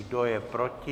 Kdo je proti?